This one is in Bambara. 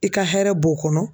I ka hɛrɛ b'o kɔnɔ.